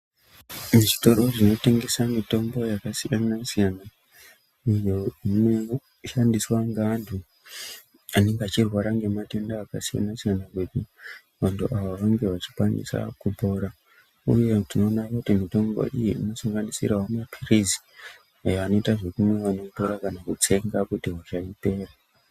Zvitoro zvinotengese mitombo yakasiyanasiyana uyo unoshandiswa ngeanhu anenge achirwara ngematenda akasiyanasiyana vantu ava vange vachikwanisa kutora uye tinoona kuti mitombo iyi inosanginisirawo mapilizi ayo anoitwa zvekumwiwa kana kutsenga kuti hosha ipere.